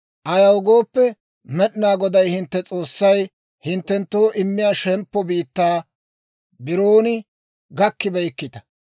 Ayaw gooppe, Med'inaa Goday hintte S'oossay hinttenttoo immiyaa shemppo biittaa biroon gakkibeykkita.